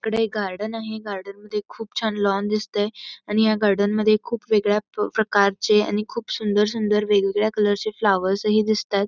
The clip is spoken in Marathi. इकडे गार्डन आहे गार्डनमध्ये खूप छान लॉन दिसतंय आणि ह्या गार्डनमध्ये वेगवेगळ्या प्रकारचे सुंदर सुंदर वेगळ्या कलरचे फ्लावर्स हि दिसतायत.